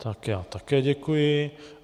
Tak, já také děkuji.